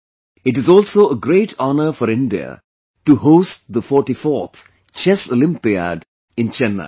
It is also a great honor for India to host the 44th Chess Olympiad in Chennai